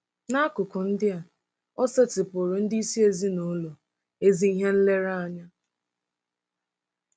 N'akụkụ ndị a, o setịpụụrụ ndị isi ezinụlọ ezi ihe nlereanya.